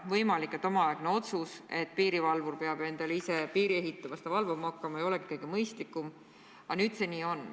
Võimalik, et omaaegne otsus, et piirivalvur peab endale ise piiri ehitama ja seda valvama hakkama, ei olegi kõige mõistlikum, aga nüüd see nii on.